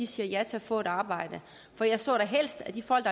siger ja til at få et arbejde for jeg så da helst at de folk